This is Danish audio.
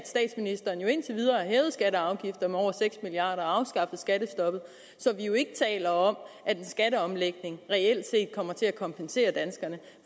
at og afgifter med over seks milliard kroner og afskaffet skattestoppet så vi jo ikke taler om at en skatteomlægning reelt set kommer til at kompensere danskerne